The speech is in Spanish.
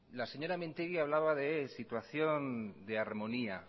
la señora mintegi hablaba de situación de armonía